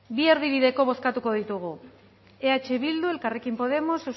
bi erdibideko bozkatuko digu eh bildu elkarrekin podemos